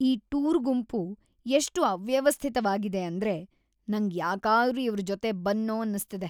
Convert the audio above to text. ಈ ಟೂರ್ ಗುಂಪು ಎಷ್ಟ್ ಅವ್ಯವಸ್ಥಿತ್ವಾಗಿದೆ ಅಂದ್ರೆ ನಂಗ್‌ ಯಾಕಾದ್ರೂ ಇವ್ರ್‌ ಜೊತೆ ಬಂದ್ನೋ ಅನ್ಸ್ತಿದೆ.